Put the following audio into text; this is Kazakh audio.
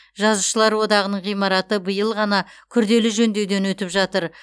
жазушылар одағының ғимараты биыл ғана күрделі жөндеуден өтіп жатыр